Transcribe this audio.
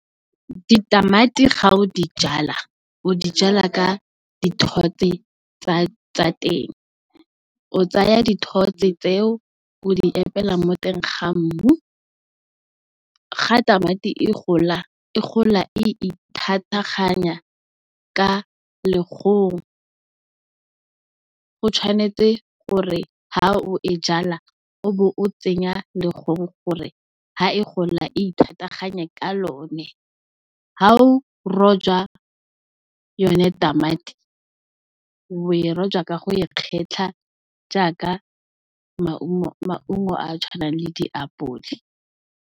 Di tamati ga o di jala, o di jala ka di thotse tsa teng. O tsaya di thotse tseo, o di epela mo teng ga mmu, ga tamati e gola, e gola e ithataganya ka legong. O tshwanetse gore ha o e jala o bo o tsenya legong gore ha e gola ithataganye ka lone, ha o roja yone tamati o e roja ka go e kgetlha jaaka maungo a a tshwanang le di apole.